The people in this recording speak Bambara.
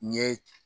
N ye